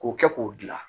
K'o kɛ k'o gilan